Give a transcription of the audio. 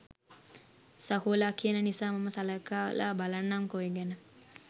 සහෝලා කියන නිසා මම සලකලා බලන්නම්කෝ ඒ ගැන.